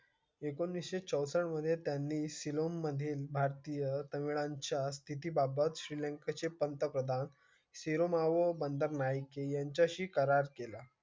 एकोणीस चौसष्ट मध्ये त्यांनी सिलोन मध्ये भारतीय तळांच्या स्थिती बाबात श्रीलंका चे पंतप्रधान Sirimavo Bandaranaike यांच्या शी करार केला.